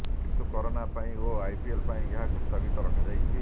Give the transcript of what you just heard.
କିନ୍ତୁ କରୋନା ପାଇଁ ଓ ଆଇପିଏଲ ପାଇଁ ଏହାକୁ ସ୍ଥଗିତ ରଖାଯାଇଛି